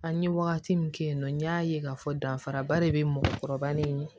An ye wagati min kɛ yen nɔ n y'a ye k'a fɔ danfaraba de be mɔgɔkɔrɔba ni